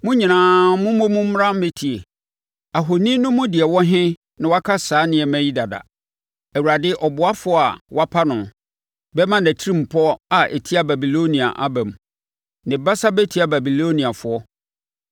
“Mo nyinaa mommɔ mu mmra mmɛtie: ahoni no mu deɛ ɔwɔ he na waka saa nneɛma yi dada? Awurade ɔboafoɔ a wapa no bɛma nʼatirimpɔ a ɛtia Babilonia aba mu; ne basa bɛtia Babiloniafoɔ.